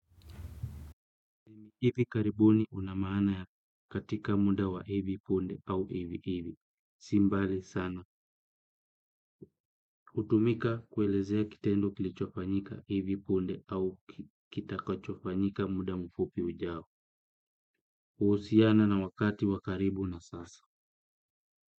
Hivi karibuni una maana ya katika muda wa hivi punde au hivi hivi. Si mbali sana. Hutumika kuelezea kitendo kilichofanyika hivi punde au kitakachofanyika muda mfupi ujao. Huhusiana na wakati wa karibu na sasa.